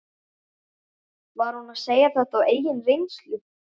Var hún að segja þetta af eigin reynslu?